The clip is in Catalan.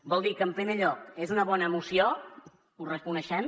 vol dir que en primer lloc és una bona moció ho reconeixem